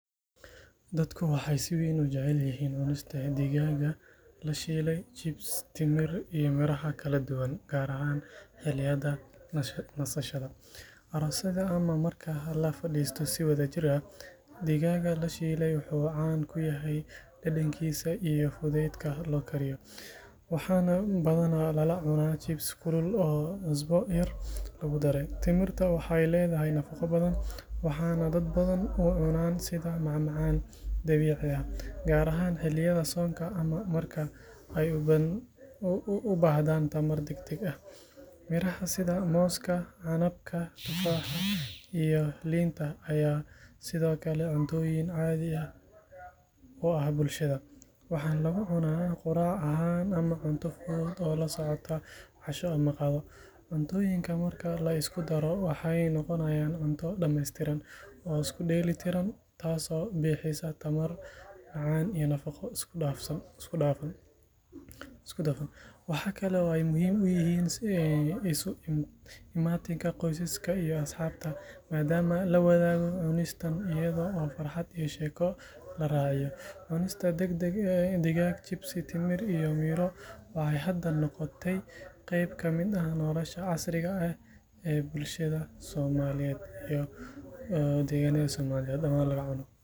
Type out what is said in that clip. Dadku waxay si weyn u jecel yihiin cunista digaag la shiilay, chips, timir iyo miraha kala duwan, gaar ahaan xilliyada nasashada, aroosyada ama marka la fadhiisto si wadajir ah. Digaaga la shiilay wuxuu caan ku yahay dhadhankiisa iyo fudaydka loo kariyo, waxaana badanaa lala cunaa chips kulul oo cusbo yar lagu daray. Timirta waxay leedahay nafaqo badan, waxaana dad badan u cunaan sida macmacaan dabiici ah, gaar ahaan xilliyada soonka ama marka ay u baahdaan tamar degdeg ah. Miraha sida mooska, canabka, tufaaxa iyo liinta ayaa sidoo kale cuntooyin caadi ah u ah bulshada, waxaana lagu cunaa quraac ahaan ama cunto fudud oo la socda casho ama qado. Cuntooyinkan marka la isugu daro waxay noqonayaan cunto dhammaystiran oo isku dheeli tiran, taasoo bixisa tamar, macaan iyo nafaqo isku dhafan. Waxa kale oo ay muhiim u yihiin isu imaatinka qoysaska iyo asxaabta, maadaama la wadaago cunistaas iyada oo farxad iyo sheeko la raaciyo. Cunista digaag, chips, timir iyo miro waxay hadda noqotay qayb ka mid ah nolosha casriga ah ee bulshada Soomaaliyeed.